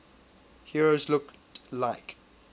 heroes looked like